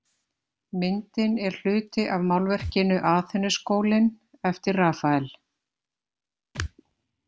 Myndin er hluti af málverkinu Aþenuskólinn eftir Rafael.